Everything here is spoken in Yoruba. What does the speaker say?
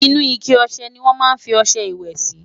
inú ike ọsẹ ní wón má fí ọsẹ ìwé Si